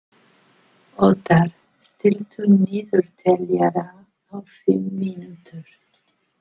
Othar, stilltu niðurteljara á fimm mínútur.